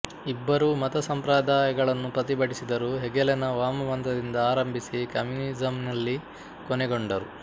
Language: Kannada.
ಇಬ್ಬರೂ ಮತ ಸಂಪ್ರದಾಯಗಳನ್ನು ಪ್ರತಿಭಟಿಸಿದರು ಹೆಗೆಲನ ವಾಮಪಂಥದಿಂದ ಆರಂಭಿಸಿ ಕಮ್ಯೂನಿಸಮ್ಮಿನಲ್ಲಿ ಕೊನೆಗೊಂಡರು